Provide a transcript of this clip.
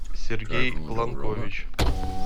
сергей ланкович